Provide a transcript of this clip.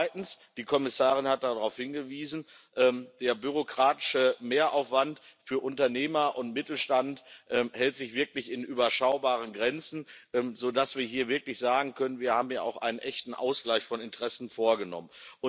Zweitens die Kommissarin hat darauf hingewiesen Der bürokratische Mehraufwand für Unternehmer und den Mittelstand hält sich wirklich in überschaubaren Grenzen, sodass wir hier wirklich sagen können, wir haben hier auch einen echten Ausgleich von Interessen vorgenommen.